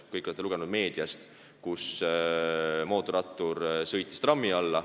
Kõik te olete lugenud meediast, et mootorrattur sõitis trammi alla.